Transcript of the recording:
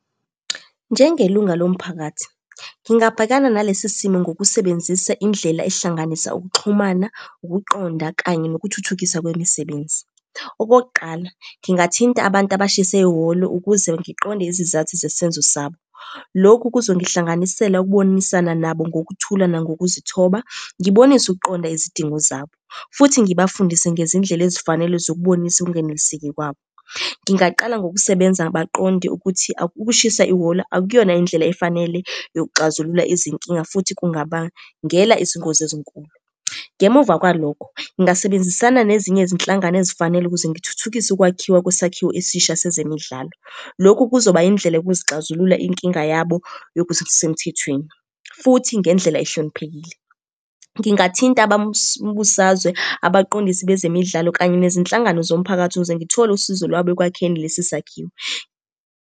Njengelunga lomphakathi, ngingabhekana nalesi simo ngokusebenzisa indlela ehlanganisa ukuxhumana, ukuqonda, kanye nokuthuthukiswa kwemisebenzi. Okokuqala, ngingathinta abantu abashise ihholo ukuze ngiqonde izizathu zesenzo sabo. Lokhu kuzongihlanganisela ukubonisana nabo ngokuthula nangokuzithoba, ngibonise ukuqonda izidingo zabo, futhi ngibafundise ngezindlela ezifanele zokubonisa ukungeneliseki kwabo. Ngingaqala ngokusebenza baqonde ukuthi ukushisa ihholo akuyona indlela efanele yokuxazulula izinkinga, futhi kungabangela izingozi ezinkulu. Ngemuva kwalokho, ngingasebenzisana nezinye izinhlangano ezifanele ukuze ngithuthukise ukwakhiwa kwesakhiwo esisha sezemidlalo. Lokhu kuzoba yindlela yokuzixazulula inkinga yabo yokuthi kusemthethweni, futhi ngendlela ehloniphekile. Ngingathinta abambusazwe, abaqondisi bezemidlalo, kanye nezinhlangano zomphakathi, ukuze ngithole usizo lwabo ekwakheni lesi sakhiwo.